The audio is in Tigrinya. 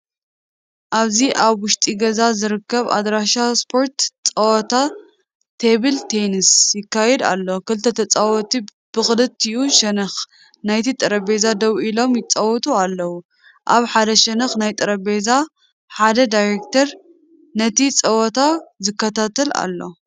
ኣብዚ ኣብ ውሽጢ ገዛ ኣብ ዝርከብ ኣዳራሽ ስፖርት ጸወታ ቴብል ቴኒስ ይካየድ ኣሎ። ክልተ ተጻወትቲ ብኽልቲኡ ሸነኽ ናይቲ ጠረጴዛ ደው ኢሎም ይጻወቱ ኣለዉ። ኣብ ሓደ ሸነኽ ናይቲ ጠረጴዛ ሓደ ዳይሬክተር ነቲ ጸወታ ዝከታተል ኣሎ።